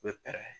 U bɛ pɛrɛn